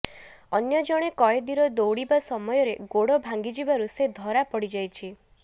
ଅନ୍ୟ ଜଣେ କଏଦୀର ଦୌଡ଼ିବା ସମୟରେ ଗୋଡ଼ ଭାଙ୍ଗିଯିବାରୁ ସେ ଧରାପଡ଼ିଯାଇଛି